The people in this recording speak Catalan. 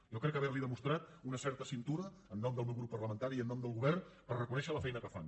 jo crec haverli demostrat una certa cintura en nom del meu grup parlamentari i en nom del govern per haver reconegut la feina que fan